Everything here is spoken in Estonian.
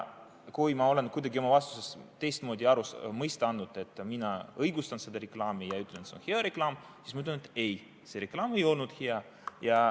Kui ma olen kuidagi oma vastuses teistmoodi mõista andnud, nagu mina õigustaksin seda reklaami ja ütleksin, et see on hea reklaam, siis ma ütlen, et ei, see reklaam ei olnud hea.